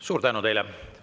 Suur tänu teile!